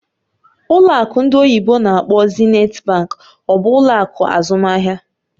Ụlọ akụ ndị oyibo n'akpọ "Zenith Bank" ọ bụ ụlọ akụ azụmaahịa?